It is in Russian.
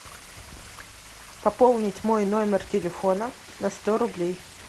пополнить мой номер телефона на сто рублей